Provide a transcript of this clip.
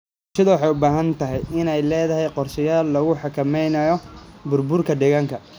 Bulshada waxay u baahan tahay inay leedahay qorshayaal lagu xakameynayo burburka deegaanka.